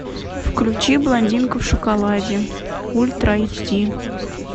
включи блондинка в шоколаде ультра эйч ди